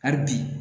Hali bi